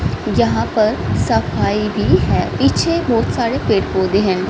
यहां पर सफाई भी है पीछे बहुत सारे पेड़ पौधे हैं।